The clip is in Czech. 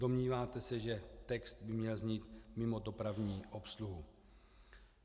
Domníváte se, že text by měl znít "mimo dopravní obsluhu".